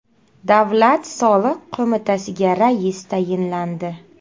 Davlat soliq qo‘mitasiga rais tayinlandi.